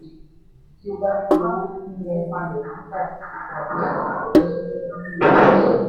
"o lè máà rí èrè tí o bá fi owó sínú ilẹ̀-títà tàbí irin iyebíye."